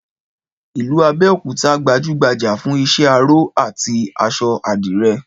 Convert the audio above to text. Ìlú Abẹ́òkúta gbajúgbajà fún iṣẹ́ aró àti aṣọ àdìrẹ